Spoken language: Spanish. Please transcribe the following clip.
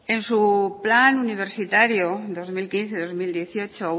en su plan universitario dos mil quince dos mil dieciocho